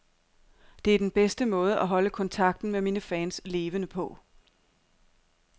Det er den bedste måde at holde kontakten med mine fans levende på.